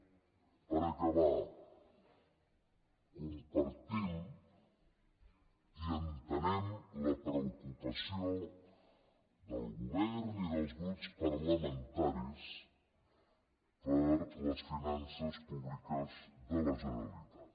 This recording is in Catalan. per acabar compartim i entenem la preocupació del govern i dels grups parlamentaris per les finances públiques de la generalitat